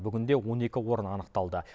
бүгінде он екі орын анықталды